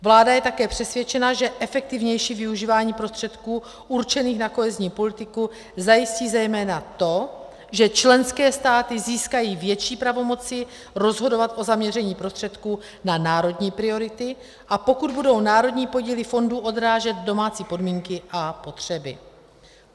Vláda je také přesvědčena, že efektivnější využívání prostředků určených na kohezní politiku zajistí zejména to, že členské státy získají větší pravomoci rozhodovat o zaměření prostředků na národní priority, a pokud budou národní podíly fondů odrážet domácí podmínky a potřeby.